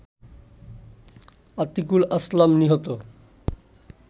আতিকুল আসলাম নিহত